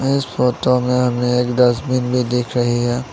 इस फोटो में हमें एक डस्टबिन भी देख रही है।